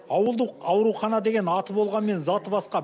ауылдық аурухана деген аты болғанмен заты басқа